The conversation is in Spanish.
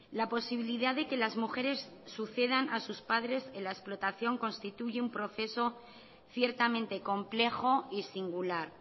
la posibilidad de que las mujeres sucedan a sus padres en la explotación constituye un proceso ciertamente complejo y singular